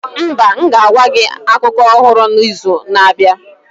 Mba, m ga-agwa gị akụkọ ọhụrụ n'izu na-abịa.